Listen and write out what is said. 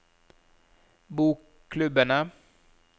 bokklubbene